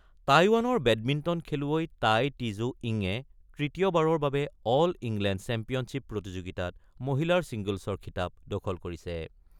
টাইৱানৰ বেডমিণ্টন খেলুৱৈ Tai Tzu ইংঙে তৃতীয়বাৰৰ বাবে অল ইংলেণ্ড চেম্পিয়নশ্বীপ প্ৰতিযোগিতাত মহিলাৰ ছিংগলছৰ খিতাপ দখল কৰিছে।